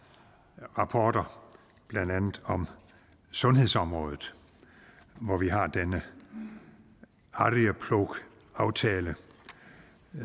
rapporter blandt andet om sundhedsområdet hvor vi har denne arjeplogaftale